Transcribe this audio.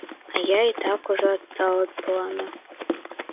а я и так уже отстал от плана